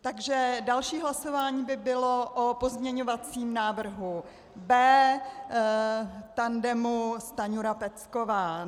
Takže další hlasování by bylo o pozměňovacím návrhu B tandemu Stanjura-Pecková.